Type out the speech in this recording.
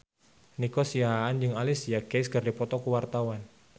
Nico Siahaan jeung Alicia Keys keur dipoto ku wartawan